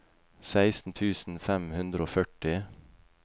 seksten tusen fem hundre og førti